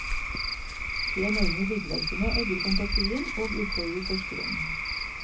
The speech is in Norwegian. De enorme byggverkene egger fantasien og utfordrer forskeren.